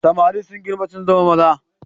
Samari sun girma sun zama maza.